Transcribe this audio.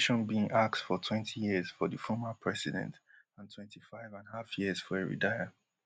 prosecution bin ask for twenty years for di former president and twenty-five and half years for heredia